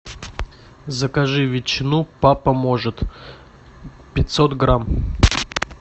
закажи ветчину папа может пятьсот грамм